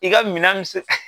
I ka minan mi se